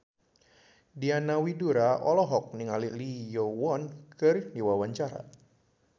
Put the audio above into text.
Diana Widoera olohok ningali Lee Yo Won keur diwawancara